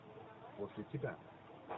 после тебя